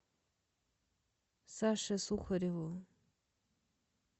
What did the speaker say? саше сухареву